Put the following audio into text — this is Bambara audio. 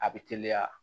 A bɛ teliya